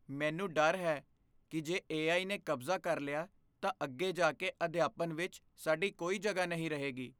ਮੈਨੂੰ ਡਰ ਹੈ ਕਿ ਜੇ ਏ.ਆਈ. ਨੇ ਕਬਜ਼ਾ ਕਰ ਲਿਆ ਤਾਂ ਅੱਗੇ ਜਾ ਕੇ ਅਧਿਆਪਨ ਵਿੱਚ ਸਾਡੀ ਕੋਈ ਜਗ੍ਹਾ ਨਹੀਂ ਰਹੇਗੀ।